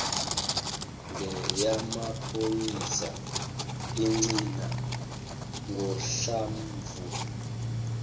ngeyamaphoyisa igcina ngohlamvu